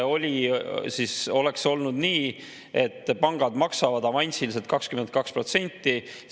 Oleks olnud nii, et pangad maksavad avansiliselt 22%.